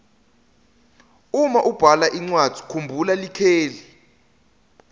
uma ubhala incwadzi kumbhula likheli